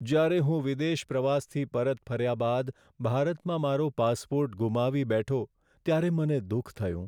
જ્યારે હું વિદેશ પ્રવાસથી પરત ફર્યા બાદ ભારતમાં મારો પાસપોર્ટ ગુમાવી બેઠો ત્યારે મને દુઃખ થયું.